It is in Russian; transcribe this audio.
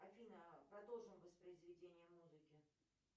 афина продолжи воспроизведение музыки